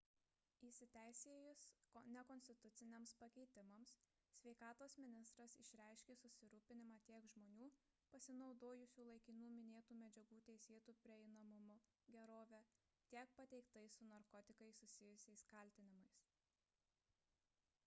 įsiteisėjus nekonstituciniams pakeitimams sveikatos ministras išreiškė susirūpinimą tiek žmonių pasinaudojusių laikinu minėtų medžiagų teisėtu prieinamumu gerove tiek pateiktais su narkotikais susijusiais kaltinimais